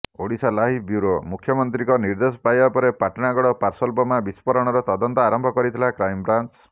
Odisha live bureau ମୁଖ୍ୟମନ୍ତ୍ରୀଙ୍କ ନିର୍ଦ୍ଦେଶ ପାଇବା ପରେ ପାଟଣାଗଡ଼ ପାର୍ସଲ ବୋମା ବିସ୍ଫୋରଣର ତଦନ୍ତ ଆରମ୍ଭ କରିଥିଲା କ୍ରାଇମବ୍ରାଞ୍ଚ